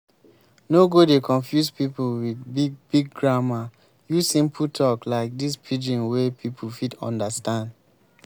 no go dey confuse pipo with big big grammer use simple talk like this pidgin wey pipo fit understand